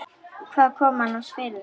Hvað kom annars fyrir þig?